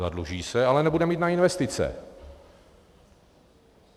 Zadluží se, ale nebude mít na investice.